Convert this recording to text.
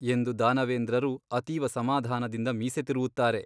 ಎಂದು ದಾನವೇಂದ್ರರು ಅತೀವ ಸಮಾಧಾನದಿಂದ ಮೀಸೆ ತಿರುವುತ್ತಾರೆ.